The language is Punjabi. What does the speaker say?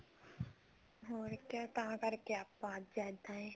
ਹੁਣ ਇੱਦਾਂ ਹੈ ਤਾਂ ਕਰਕੇ ਹੁਣ ਆਪਾਂ ਇੱਦਾਂ ਆ